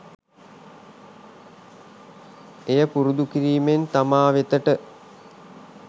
එය පුරුදු කිරීමෙන් තමා වෙතට